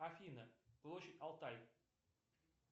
афина площадь алтай